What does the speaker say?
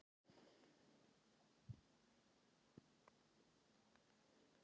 Það má því segja að þær séu settar saman úr fáum en mjög margbrotnum efnasamböndum.